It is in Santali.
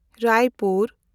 ᱨᱟᱭᱯᱩᱨ